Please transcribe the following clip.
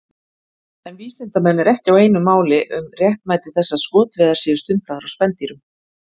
En vísindamenn eru ekki einu máli um réttmæti þess að skotveiðar séu stundaðar á spendýrum.